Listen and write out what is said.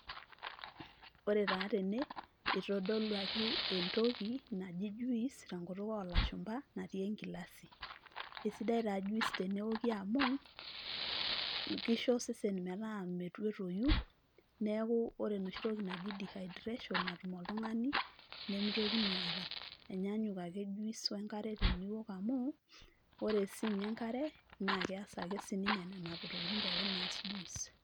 Ore taa tene, itodoluaki entoki naji juice, tenkutuk olashumpa, natii egilasi. Esidai taa juice tenewoki amu, kisho osesen metaa metoyu, neeku ore enoshi toki naji dehydration natum oltung'ani, nimitokini aata. Enyaanyuk ake juice wenkare teniwok amu, ore sinye enkare, nakees ake sininye nena tokiting pookin naas juice.